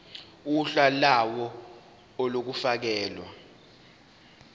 uhla lawo olufakelwe